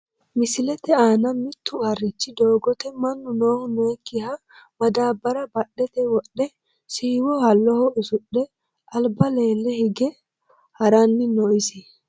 Misilete aana mittu harichu doogote manu noohu nookiha madaabara badhete wodhe siiwo halloho usudhe alba lele hige harani no isi.